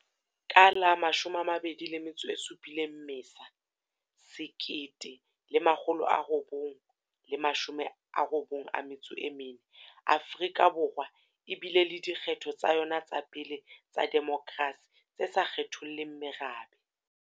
Ka la 27 Mmesa 1994, Afrika Borwa e bile le dikgetho tsa yona tsa pele tsa demokrasi tse sa kgetholleng merabe.